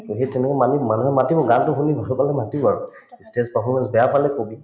to সেই তেনেকে মানুহ মানুহে মাতিব গানতো শুনি ভাল পালে মাতিব stage performance বেয়া পালে কবি